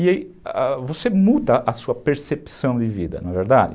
E aí você muda a sua percepção de vida, não é verdade?